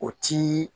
O ti